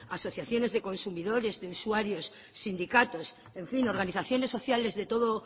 asociaciones de consumidores de usuarios sindicatos en fin organizaciones sociales de todo